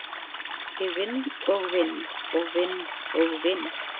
Ég vinn og vinn og vinn og vinn.